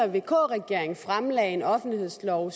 vk regering fremlagde en offentlighedslov